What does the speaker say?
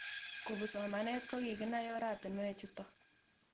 Kopun somanet ko kikinai oratinwek chutok